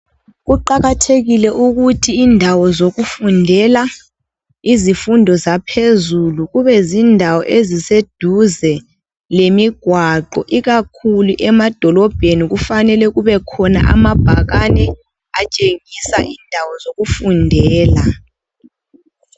Kuqakathekile ukuthi indawo zokufundela izifundo zaphezulu, kube zindawo eziseduze lemigwaqo. Ikakhulu emadolobheni kufanele kubekhona amabhakane atshengisa indawo zokufundela.